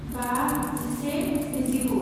बा जिसे स्निजिगु